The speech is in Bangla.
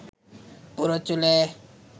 পুরো চুলে